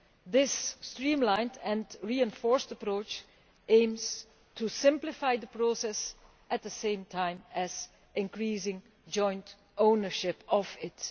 This streamlined and reinforced approach aims to simplify the process, at the same time as increasing joint ownership of it.